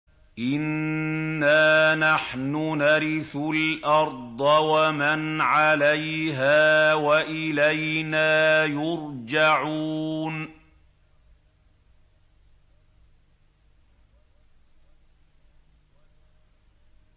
إِنَّا نَحْنُ نَرِثُ الْأَرْضَ وَمَنْ عَلَيْهَا وَإِلَيْنَا يُرْجَعُونَ